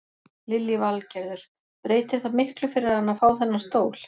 Lillý Valgerður: Breytir það miklu fyrir hana að fá þennan stól?